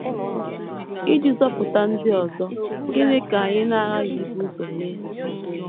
Iji zọpụta ndị ọzọ, gịnị ka anyị na - aghaghị ibu ụzọ mee?